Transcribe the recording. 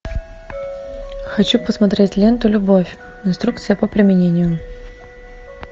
хочу посмотреть ленту любовь инструкция по применению